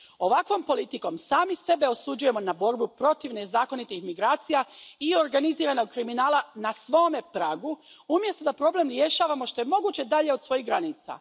Ovakvom politikom sami sebe osuđujemo na borbu protiv nezakonitih migracija i organiziranog kriminala na svome pragu umjesto da problem rješavamo što je moguće dalje od svojih granica.